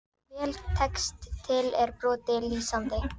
Þegar vel tekst til er brotið lýsandi.